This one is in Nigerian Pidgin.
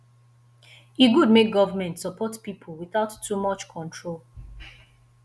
e good make government support pipo without too much control